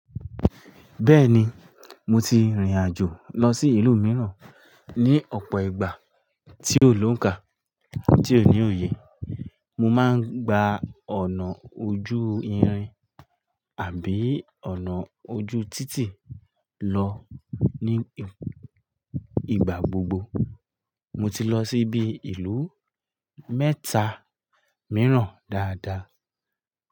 Bẹ́ẹ̀ni, mo ti rìnrìn àjò lọ sí ìlú mìíràn ní ọ̀pọ̀ ìgbà tí ó lónkà tí ó ní òye. Mo máa ń gba ọ̀nà ojú irin àbí ọ̀nà ojú títì lọ ní ìgbà gbogbo. Mo ti lọ sí bi ìlú mẹ́ta mìíràn dáadáa.